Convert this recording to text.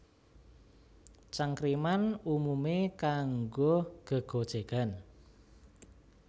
Cangkriman umumé kanggo gégojégan